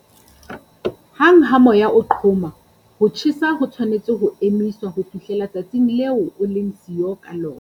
Hang ha moya o qhoma, ho tjhesa ho tshwanetse ho emiswa ho fihlela tsatsing leo o leng siyo ka lona.